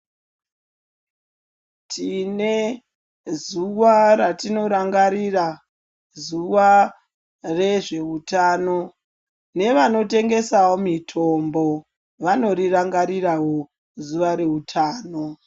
Tine zuwa ratinorangarira ,zuwa rezveutano ,nevanotengesawo mitombo ,vanorirangarirawo zuwa reutano.